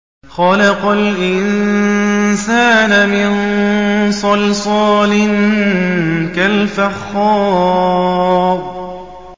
خَلَقَ الْإِنسَانَ مِن صَلْصَالٍ كَالْفَخَّارِ